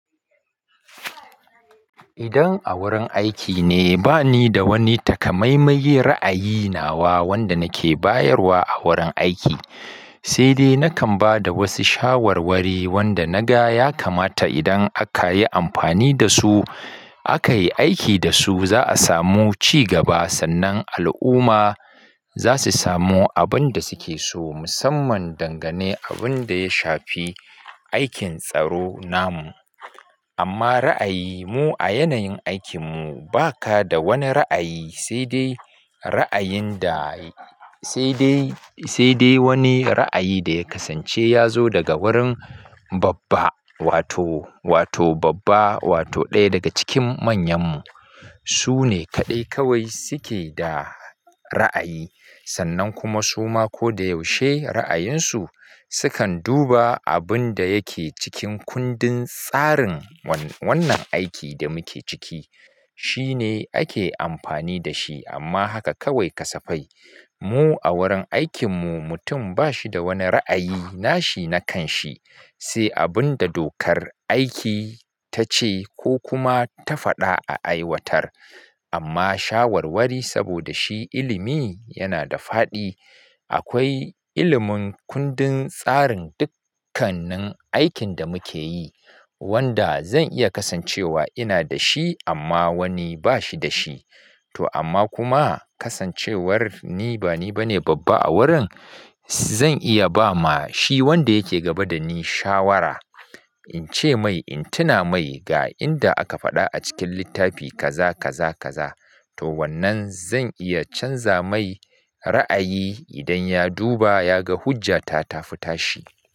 Idan a wurin aiki ne, ba ni da wani takamaimai ra'ayi nawa wanda nake bayarwa a wurin aiki, sai dai nakan ba da wasu shawarwari wanda na ga ya kamata idan aka yi amfani da su, aka yi aiki da su, za a samu ci gaba sannan al'umma za su samu abin da suke so musamman dangane abin da ya shafi aikin tsaro namu. Amma ra'ayimu a yanayin aikinmu ba ka da wani ra'ayi sai dai ra'ayin da sai dai, sai dai wani ra'ayi da ya kasance ya zo daga wurin babba wato, wato babba wato ɗaya daga cikin manyanmu. Su ne kaɗai kawai suke da ra'ayi sannan kuma suma ko da yaushe ra'ayinsu sukan duba abin da yake cikin kundin tsarin wannan aikin da muke ciki. Shi ne ake amfani da shi amma haka kawai ka safai. Mu a wurin aikinmu mutum ba shi da wani ra'ayi nashi na kan shi, sai abin da dokar aiki ta ce ko kuma ta faɗa a aiwatar. Amma shawarwari saboda shi ilimi yana da faɗi. Akwai ilimin kundin tsarin dukkannin aikin da muke yi wanda zan iya kasancewa ina da shi amma wani ba shi da shi. To amma kuma kasancewar ni ba ni bane babba a wurin, zan iya ba ma shi wanda yake gaba da ni shawara. In ce mai, in tuna mai ga inda aka faɗa a cikin littafi kaza kaza kaza. To wannan zan iya canza mai ra'ayi idan ya duba ya ga hujja ta tafi tashi.